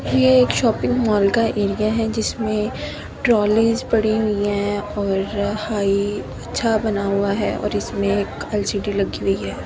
यह एक shopping mall का एरिया है जिसमें ट्रॉलीज पड़ी हुई हैं और हाई अच्छा बना हुआ है और इसमें एक एल_सी_डी लगी हुई है।